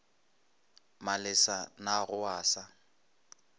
malesa na ga o sa